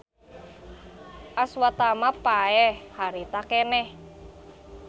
Aswatama paeh harita keneh.